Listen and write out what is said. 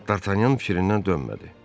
Dartanyan fikrindən dönmədi.